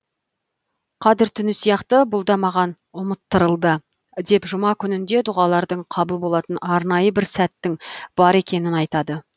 қадір түні сияқты бұл да маған ұмыттырылды деп жұма күнінде дұғалардың қабыл болатын арнайы бір сәттің бар екенін айтады